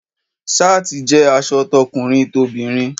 Ṣááti jẹ́ aṣọ tọkùnrin tobinrin.